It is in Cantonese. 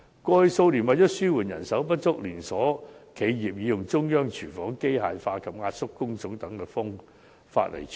過去數年，為了紓緩人手不足，連鎖企業已採用中央廚房、機械化及壓縮工種等方法處理。